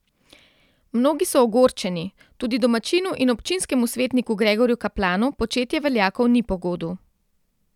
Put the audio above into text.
Mnogi so ogorčeni, tudi domačinu in občinskemu svetniku Gregorju Kaplanu početje veljakov ni po godu.